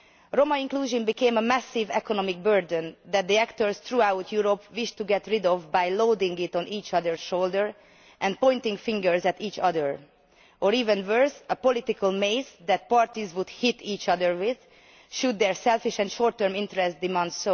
Roma inclusion became a massive economic burden that the actors throughout Europe wished to get rid of by loading it on each other's shoulders and pointing fingers at each other or, even worse, a political mace that parties would hit each other with, should their selfish and short term interests so demand.